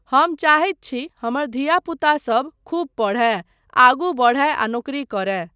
हम चाहैत छी हमर धिया पूता सब खूब पढ़य, आगू बढ़य आ नौकरी करय।